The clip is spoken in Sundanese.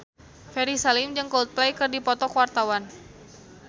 Ferry Salim jeung Coldplay keur dipoto ku wartawan